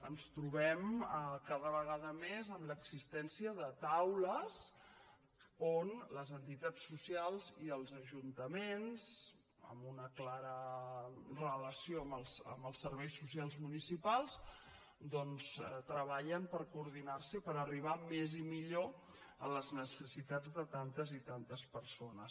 ens trobem cada vegada més amb l’existència de taules on les entitats socials i els ajuntaments amb una clara relació amb els serveis socials municipals doncs treballen per coordinarse i per arribar més i millor a les necessitats de tantes i tantes persones